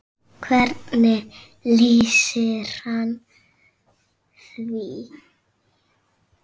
Hvernig lýsir hann því?